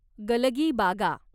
गलगीबागा